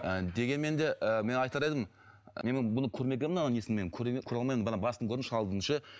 ы дегенмен де ііі мен айтар едім мен бұны көрмегенмін мынау несін мен көре көре алмаймын басын көрдім шалдың ше